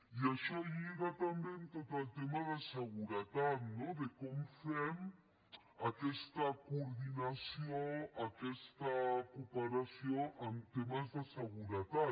i això lliga també amb tot el tema de seguretat no de com fem aquesta coordinació aquesta cooperació en temes de seguretat